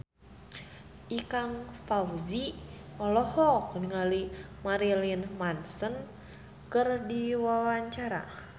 Ikang Fawzi olohok ningali Marilyn Manson keur diwawancara